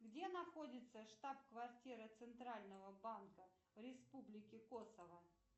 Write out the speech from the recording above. где находится штаб квартира центрального банка республики косово